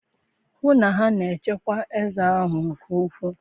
hụ na a na-echekwa eze ahụ nke ukwuu